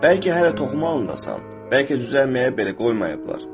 Bəlkə hələ toxum halındasan, bəlkə cücərməyə belə qoymayıblar.